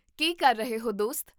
ਕੀ ਕਰ ਰਹੇ ਹੋ, ਦੋਸਤ?